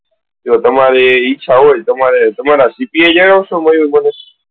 જો તમારી ઈચ્છા હોય તો તમારા CPI જણાવશો મયુર મને?